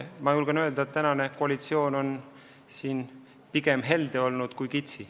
Aga praegune koalitsioon on selles osas olnud pigem helde kui kitsi.